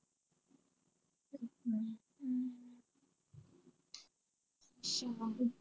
ਅੱਛਾ।